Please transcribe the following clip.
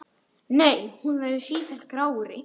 Nei, hún verður sífellt grárri.